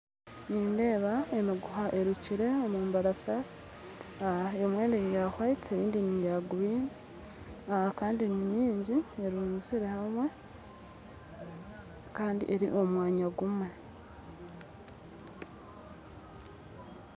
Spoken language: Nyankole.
Nindeeba emiguha erukire omubarasaasi aa emwe neya white endiijo neya green kandi ninyingi eruzire hamwe kandi eri omu mwanya gumwe